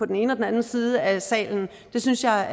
den ene og den anden side af salen det synes jeg